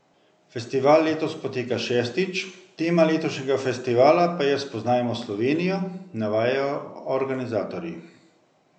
Festival letos poteka šestič, tema letošnjega festivala pa je Spoznajmo Slovenijo, navajajo organizatorji.